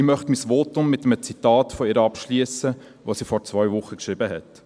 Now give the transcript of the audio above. Ich möchte mein Votum mit einem Zitat von ihr abschliessen, das sie vor zwei Wochen geschrieben hat: